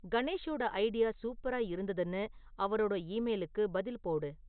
கணேஷோட idea சூப்பரா இருந்துதுன்னு அவரோட ஈமெயிலுக்கு பதில் போடு